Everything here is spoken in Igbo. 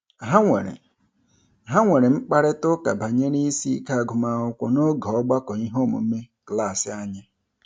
Ha nwere Ha nwere mkparịtaụka banyere isiike agụmakwụkwọ n'oge ọgbakọ iheomume klaasị anyị